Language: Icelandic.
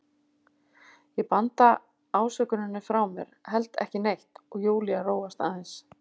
Ég banda ásökuninni frá mér, held ekki neitt, og Júlía róast aðeins.